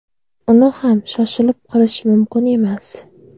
Uni ham shoshilib qilish mumkin emas.